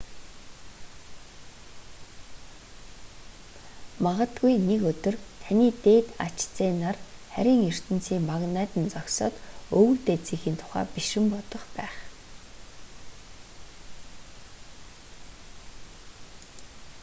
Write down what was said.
магадгүй нэг өдөр таны дээд ач зээ нар харийн ертөнцийн магнайд нь зогсоод өвөг дээдсийнхээ тухай бишрэн бодох байх